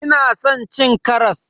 Ina san cin karas.